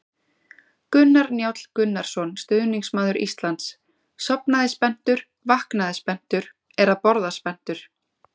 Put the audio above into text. Gunnar Njáll Gunnarsson, stuðningsmaður Íslands: Sofnaði spenntur, vaknaði spenntur, er að borða spenntur!